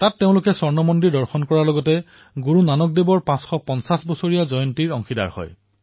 তেওঁলোকে অমৃতসৰৰ মন্দিৰ দৰ্শন কৰিছিল আৰু এয়া গুৰুনানক দেৱজীৰ ৫৫০তম প্ৰকাশপৰ্ব উপলক্ষে সম্পন্ন কৰা হৈছিল